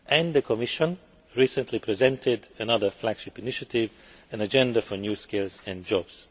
The Commission recently presented another flagship initiative, an Agenda for new skills and jobs'.